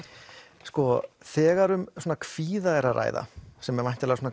þegar um kvíða er að ræða sem er væntanlega